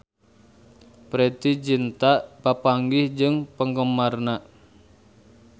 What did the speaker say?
Preity Zinta papanggih jeung penggemarna